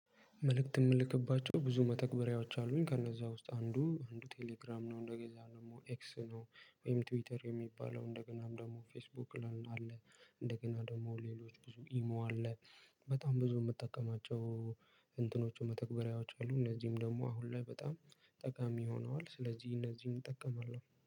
መልእክት የምልክባቸው ብዙ መተግበሪያዎች አሉኝ ከነዛ ውስጥ አንዱ አንዱ ቴሌግራም ነው እንደገዛ ደግሞ ኤክስ ነው ወይም ትዊተር የሚባለው እንደገናም ደግሞ ፌስቡክ ላይም አለ እንደገና ደግሞ ሌሎች ብዙ ኢሞ አለ። በጣም ብዙ የምጠቀማቸው እንትኖቹ መተክበሪያዎች አሉ እነዚህም ደግሞ አሁን ላይ በጣም ጠቃሚ ሆነዋል ስለዚህ እነዚህን እጠቀማለሁ